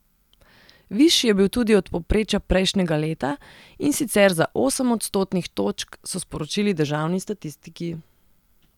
Višji je bil tudi od povprečja prejšnjega leta, in sicer za osem odstotnih točk, so sporočili državni statistiki.